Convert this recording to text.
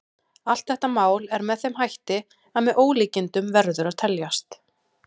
Allt þetta mál er með þeim hætti að með ólíkindum verður að teljast.